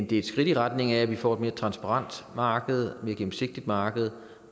det er et skridt i retning af at vi får et mere transparent marked et mere gennemsigtigt marked